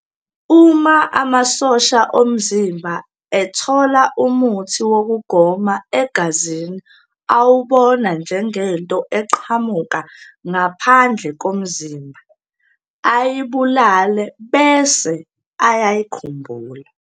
Uma amasosha omzimba athola umuthi wokugoma egazini awubona njengento eqhamuka ngaphandle komzimba, ayibulale bese "ayayikhumbula".